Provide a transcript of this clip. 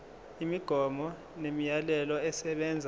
imigomo nemiyalelo esebenza